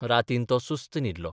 रातीन तो सुस्त न्हिदलो.